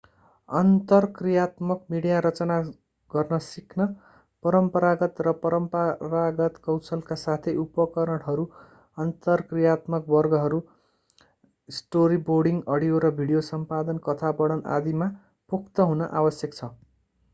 अन्तर्क्रियात्मक मिडिया रचना गर्न सिक्न परम्परागत र परम्परागत कौशलका साथै उपकरणहरू अन्तर्क्रियात्मक वर्गहरू स्टोरीबोर्डिङ अडियो र भिडियो सम्पादन कथा वर्णन आदि मा पोख्त हुन आवश्यक छ।